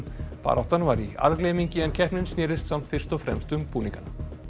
baráttan var í algleymingi en keppnin snýst samt fyrst og fremst um búningana